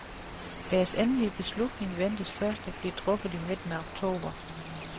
Deres endelige beslutning ventes først at blive truffet i midten af oktober.